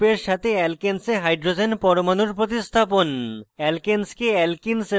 একটি ফাংশনাল গ্রুপের সাথে alkanes a hydrogen পরমাণুর প্রতিস্থাপন